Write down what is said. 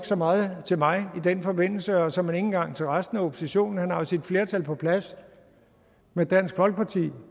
så meget til mig i den forbindelse og såmænd ikke engang til resten af oppositionen for han har sit flertal på plads med dansk folkeparti